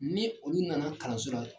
Ni olu nana kalanso la.